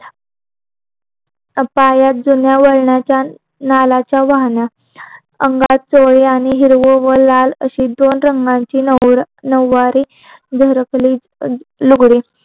पायात दुनिया भाराच्या नालाच्या वाहन अंगात चौंडी आणि हिरव्या व लाल रंगांची अशी दोन रंगांची नव्वारी घरातले लुगळे